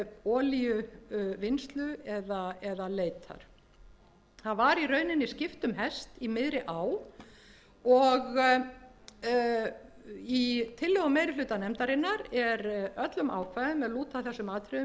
olíuvinnslu eða leitar það var í rauninni skipt um hest í miðri á og í tillögu meiri hluta nefndarinnar er öllum ákvæðum sem lúta að þessum atriðum